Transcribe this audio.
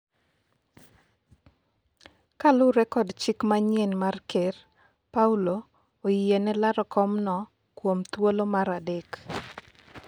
kaluwore kod chik manyien mar ker, Paulo oyiene laro komno kuom thuolo mar adek